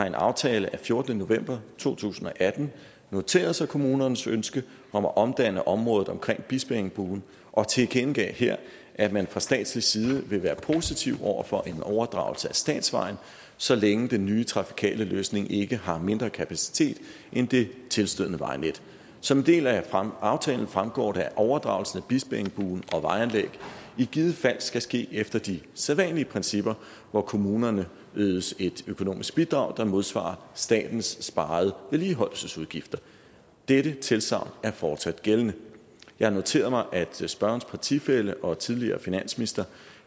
en aftale af fjortende november to tusind og atten noteret sig kommunernes ønske om at omdanne området omkring bispeengbuen og tilkendegav her at man fra statslig side vil være positiv over for en overdragelse af statsvejen så længe den nye trafikale løsning ikke har mindre kapacitet end det tilstødende vejnet som en del af aftalen fremgår det at overdragelsen af bispeengbuen og vejanlæg i givet fald skal ske efter de sædvanlige principper hvor kommunerne ydes et økonomisk bidrag der modsvarer statens sparede vedligeholdelsesudgifter dette tilsagn er fortsat gældende jeg har noteret mig at spørgerens partifælle og tidligere finansminister